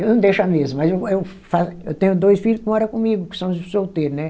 Eu não deixo a mesa, mas eu eu fa, eu tenho dois filho que mora comigo, que são solteiros, né?